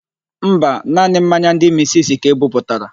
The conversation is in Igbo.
Mba, naanị mmanya ndị misisi ka e buputara.